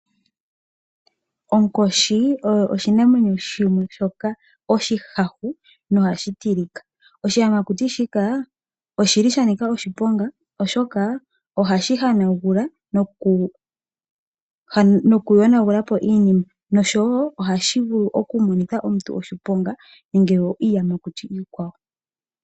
Onkoshi oyo oshinamwenyo shimwe shoka oshihahu, nohashi tilika. Oshiyamakuti shika oshi li sha nika oshiponga, oshoka ohashi hanagula nokuyonagula po iinima, nosho wo ohashi vulu oku monitha omuntu oshiponga nenge iiyamakuti iikwawo.